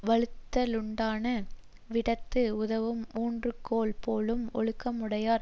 வழுக்குத லுண்டான விடத்து உதவும் ஊன்றுகோல் போலும் ஒழுக்கமுடையார்